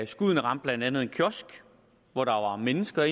skuddene ramte blandt andet en kiosk hvor der var mennesker